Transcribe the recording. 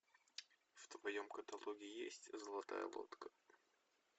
в твоем каталоге есть золотая лодка